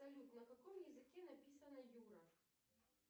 салют на каком языке написана юра